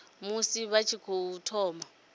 musi vha tshi tou thoma